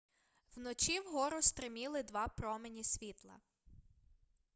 вночі вгору стриміли два промені світла